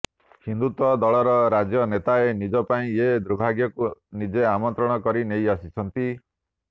ହିନ୍ଦୁତ୍ୱ ଦଳର ରାଜ୍ୟ ନେତାଏ ନିଜ ପାଇଁ ଏ ଦୁର୍ଭାଗ୍ୟକୁ ନିଜେ ଆମନ୍ତ୍ରଣ କରି ନେଇ ଆସିଛନ୍ତି